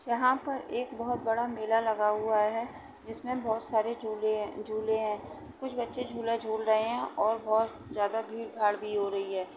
यहाँ पर बहुत बड़ा मेला लगा हुआ है जिसमें बहुत सारे झूले हैं झूले हैं कुछ बच्चे झूला झूल रहे हैं और बहुत ज़्यादा भीड़-भार भी हो रही है।